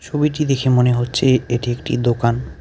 ছবিটি দেখে মনে হচ্ছে এটি একটি দোকান.